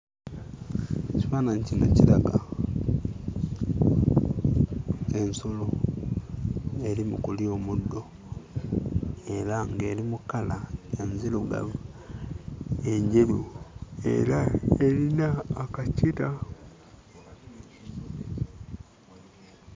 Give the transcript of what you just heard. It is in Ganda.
Ekifaananyi kino kiraga ensolo eri mu kulya omuddo era ng'eri mu kkala enzirugavu, enjeru era erina akakira.